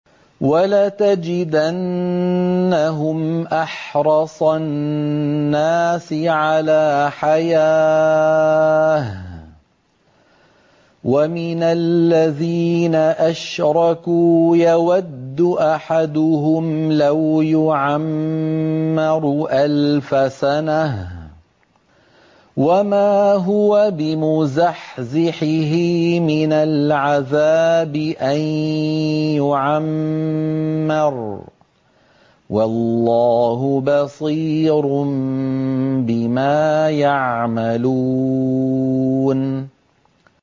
وَلَتَجِدَنَّهُمْ أَحْرَصَ النَّاسِ عَلَىٰ حَيَاةٍ وَمِنَ الَّذِينَ أَشْرَكُوا ۚ يَوَدُّ أَحَدُهُمْ لَوْ يُعَمَّرُ أَلْفَ سَنَةٍ وَمَا هُوَ بِمُزَحْزِحِهِ مِنَ الْعَذَابِ أَن يُعَمَّرَ ۗ وَاللَّهُ بَصِيرٌ بِمَا يَعْمَلُونَ